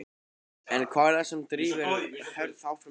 En hvað er það sem drífur Hörð áfram í verkefninu?